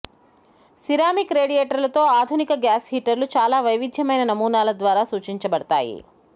ceramic రేడియేటర్లతో ఆధునిక gas హీటర్లు చాలా వైవిధ్యమైన నమూనాల ద్వారా సూచించబడతాయి